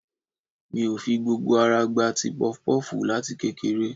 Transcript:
Mi ò fi gbogbo ara gba ti pọfupọ́ọ̀fù láti kékeré